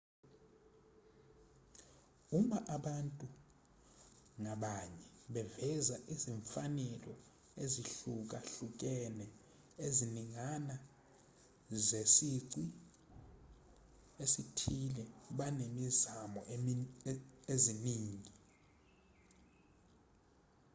uma abantu ngabanye beveza izimfanelo ezihlukahlukene eziningana zesici esithile banezimo eziningi